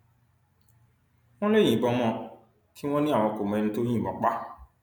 wọn lè yìnbọn mọ ọn kí wọn ní àwọn kò mọ ẹni tó yìnbọn pa á